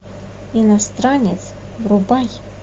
иностранец врубай